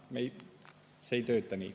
See ei tööta nii.